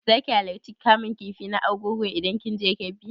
Za ki halarci bikin kamun kifi na argungu idan kin je Kebbi?